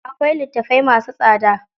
Akwai litattafai masu tsada.